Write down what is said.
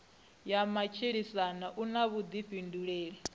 ya matshilisano u na vhuḓifhinduleli